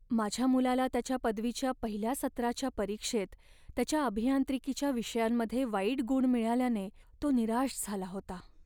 माझ्या मुलाला त्याच्या पदवीच्या पहिल्या सत्राच्या परीक्षेत त्याच्या अभियांत्रिकीच्या विषयांमध्ये वाईट गुण मिळाल्याने तो निराश झाला होता.